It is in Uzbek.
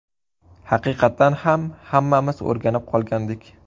Haqiqatan ham, hammamiz o‘rganib qolgandik.